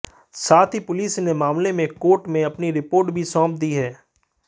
साथ ही पुलिस ने मामले में कोर्ट में अपनी रिपोर्ट भी सौंप दी है